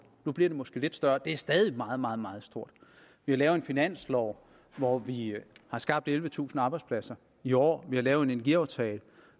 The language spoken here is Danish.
nu bliver det måske lidt større det er stadig meget meget meget stort vi har lavet en finanslov hvor vi har skabt ellevetusind arbejdspladser i år vi har lavet en energiaftale